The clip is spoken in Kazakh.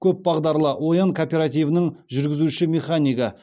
көпбағдарлы оян кооперативінің жүргізуші механигі